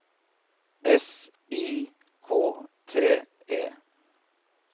S I K T E